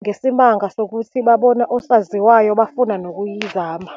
ngesimanga sokuthi babona osaziwayo, bafuna nokuyizama.